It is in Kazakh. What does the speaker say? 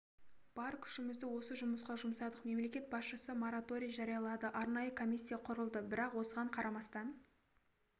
бар күшімізді осы жұмысқа жұмсадық мемлекет басшысы мораторий жариялады арнайы комиссия құрылды бірақ осыған қарамастан